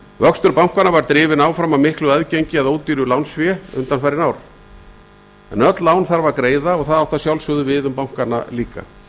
vöxtur bankanna var drifinn áfram af miklu aðgengi að ódýru lánsfé síðastliðin ár en öll lán þarf að greiða og það átti að sjálfsögðu við um bankana líka